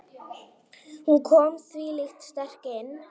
Hún kom þvílíkt sterk inn.